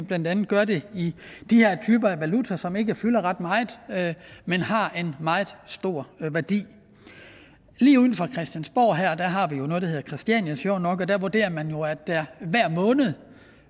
blandt andet gør det i de her typer af valuta som ikke fylder ret meget men har en meget stor værdi lige uden for christiansborg her har vi jo noget der hedder christiania sjovt nok og der vurderer man jo at der hver måned